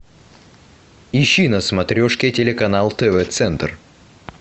ищи на смотрешке телеканал тв центр